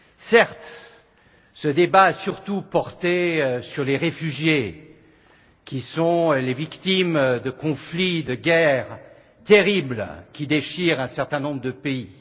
Certes, ce débat a surtout porté sur les réfugiés qui sont les victimes de conflits, de guerres terribles qui déchirent un certain nombre de pays.